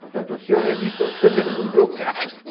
Portanto, o senhor revista outra vez o meu carro.